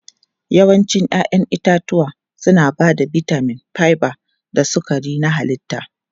Yawancin 'ya'yan itatuwa suna ba da bitamin, fiber da sukari na halitta.